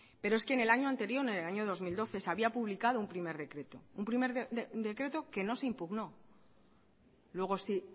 pero es que en el año anterior en el año dos mil doce se había publicado un primer decreto un primer decreto que no se impugnó luego si